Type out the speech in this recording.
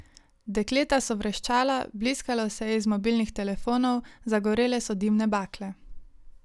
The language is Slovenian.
Dekleta so vreščala, bliskalo se je iz mobilnih telefonov, zagorele so dimne bakle.